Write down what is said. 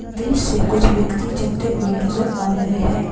बीच से कुछ व्यक्ति चलते हुए नजर आ रहे है।